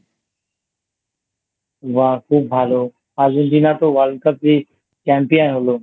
বাহ খুব ভালো Argentina তো World Cup এ Champion হল।